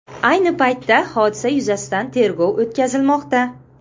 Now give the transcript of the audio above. Ayni paytda, hodisa yuzasidan tergov o‘tkazilmoqda.